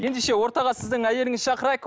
ендеше ортаға сіздің әйеліңізді шақырайық